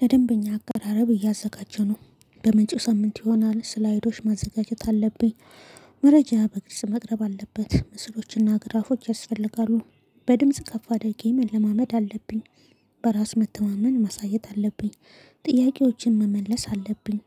ለደንበኛ አቀራረብ እያዘጋጀሁ ነው በምንጭ ሳምንት ይሆናል ስላይዶች ማዘጋጀት አለብኝ። መረጃ በግልጽ መቅረብ አለበት ምስሎችና ግራፎች ያስፈልጋሉ። በድምጽ ከፍ አደጌ መለማመድ አለብኝ። በራስ መተማመን ማሳየት አለብኝ። ጥያቄዎችን መመለስ አለብኝ።